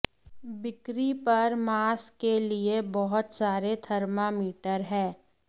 बिक्री पर मांस के लिए बहुत सारे थर्मामीटर हैं